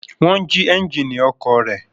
Wọ́n jí ẹ́ńjínì ọkọ̀ rẹ̀?